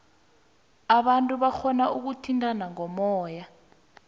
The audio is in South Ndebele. abantu barhona ukuthintana ngomoya